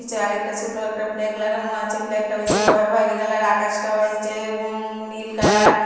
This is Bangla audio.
আর একটা ছোট একটা ফ্ল্যাগ লাগানো আছে ফ্ল্যাগ টা হয়েছে খয়-খয়রি কালার আকাশটা হয়েছে উমম নীল কালার ।